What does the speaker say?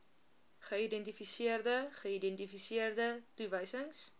geïdentifiseerde geïdentifiseerde toewysings